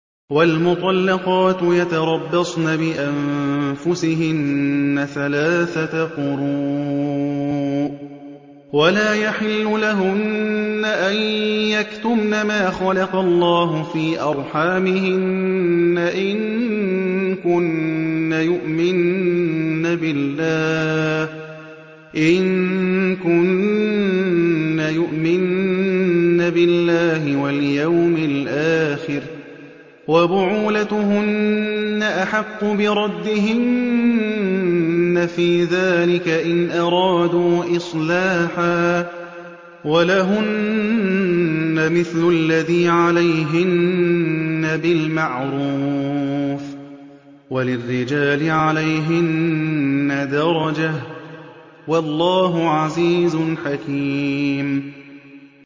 وَالْمُطَلَّقَاتُ يَتَرَبَّصْنَ بِأَنفُسِهِنَّ ثَلَاثَةَ قُرُوءٍ ۚ وَلَا يَحِلُّ لَهُنَّ أَن يَكْتُمْنَ مَا خَلَقَ اللَّهُ فِي أَرْحَامِهِنَّ إِن كُنَّ يُؤْمِنَّ بِاللَّهِ وَالْيَوْمِ الْآخِرِ ۚ وَبُعُولَتُهُنَّ أَحَقُّ بِرَدِّهِنَّ فِي ذَٰلِكَ إِنْ أَرَادُوا إِصْلَاحًا ۚ وَلَهُنَّ مِثْلُ الَّذِي عَلَيْهِنَّ بِالْمَعْرُوفِ ۚ وَلِلرِّجَالِ عَلَيْهِنَّ دَرَجَةٌ ۗ وَاللَّهُ عَزِيزٌ حَكِيمٌ